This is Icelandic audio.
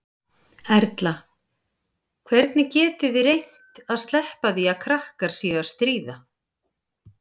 Erla: Hvernig getið þið reynt að sleppa því að krakkar séu að stríða?